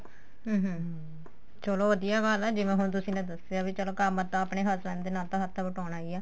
ਹਮ ਹਮ ਹਮ ਚਲੋ ਵਧੀਆ ਗੱਲ ਏ ਜਿਵੇਂ ਹੁਣ ਤੁਸੀਂ ਨੇ ਦੱਸਿਆ ਵੀ ਚਲੋ ਕੰਮ ਤਾਂ ਆਪਣੇ husband ਦੇ ਨਾਲ ਤਾਂ ਹੱਥ ਵਟਾਉਣਾ ਈ ਏ